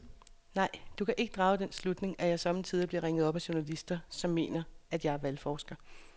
Nej, du kan drage den slutning, at jeg sommetider bliver ringet op af journalister, som mener, at jeg er valgforsker.